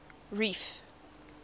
reef